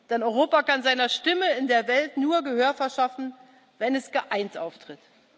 Denn Europa kann seiner Stimme in der Welt nur Gehör verschaffen, wenn es geeint auftritt.